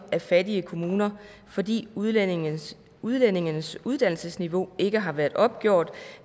af fattigere kommuner fordi udlændinges udlændinges uddannelsesniveau ikke har været opgjort